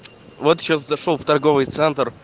вот сейчас зашёл в торговый центр